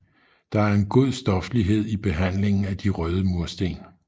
Der er en god stoflighed i behandlingen af de røde mursten